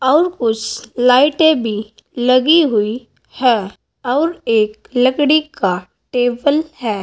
और कुछ लाईटे भी लगी हुई है और एक लकडी का टेबल है।